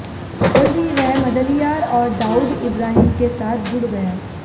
जल्द ही वह मदलियार और दाऊद इब्राहिम के साथ जुड़ गया